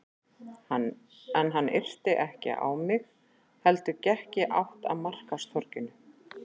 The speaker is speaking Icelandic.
En hann yrti ekki á mig heldur gekk í átt að markaðstorginu.